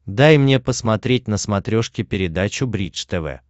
дай мне посмотреть на смотрешке передачу бридж тв